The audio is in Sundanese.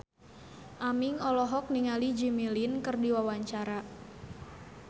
Aming olohok ningali Jimmy Lin keur diwawancara